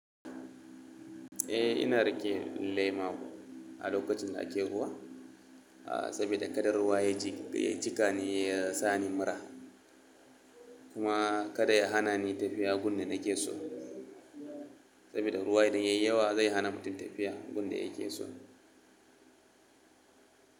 Eh ina rike lema a lokacin da ake ruwa, saboda kada ruwa ya ji, ya jikani ya sani mura. Kuma kada ya hana ni tafiya gun da nake so. Saboda ruwa idan yayi yawa zai hana mutum tafiya gun da yake so.